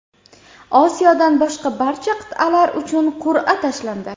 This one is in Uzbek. Osiyodan boshqa barcha qit’alar uchun qur’a tashlandi.